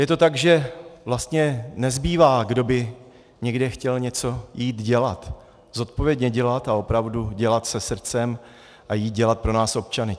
Je to tak, že vlastně nezbývá, kdo by někde chtěl něco jít dělat, zodpovědně dělat a opravdu dělat se srdcem a jít dělat pro nás občany.